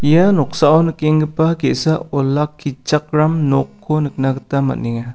ia noksao nikenggipa ge·sa olakkichakram nokko nikna gita am·enga.